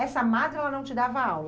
Essa madre ela não te dava aula?